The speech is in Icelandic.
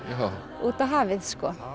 út á hafið